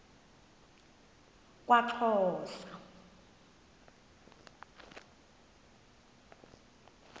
kwaxhosa